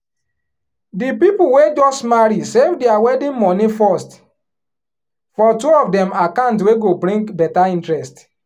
di people wey just marry save their wedding money first for two of dem account wey go bring better interest.